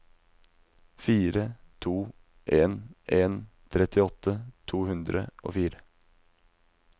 fire to en en trettiåtte to hundre og fire